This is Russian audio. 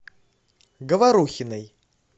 говорухиной